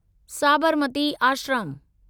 Sabarmati Ashram